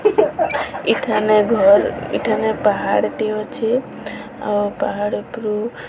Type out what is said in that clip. ଏଠାନେ ଘର ଏଠାନେ ପାହାଡ଼ ଟିଏ ଅଛି ଆଉ ପାହାଡ଼ ଉପରୁ --